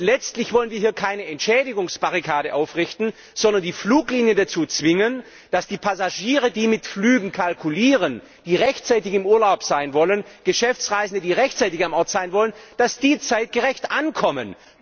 Letztlich wollen wir hier keine Entschädigungsbarrikade aufrichten, sondern die Fluglinien dazu zwingen, dass die Passagiere, die mit Flügen kalkulieren, die rechtzeitig im Urlaub sein wollen, Geschäftsreisende, die rechtzeitig am Ort sein wollen, zeitgerecht ankommen.